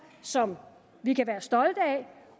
som vi kan være stolte af